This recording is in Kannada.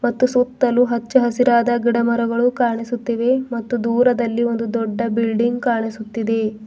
ಮತ್ತು ಸುತ್ತಲು ಹಚ್ಚ ಹಸಿರಾದ ಗಿಡಮರಗಳು ಕಾಣಿಸುತ್ತಿವೆ ಮತ್ತು ದೂರದಲ್ಲಿ ಒಂದು ದೊಡ್ಡ ಬಿಲ್ಡಿಂಗ್ ಕಾಣಿಸುತ್ತಿದೆ.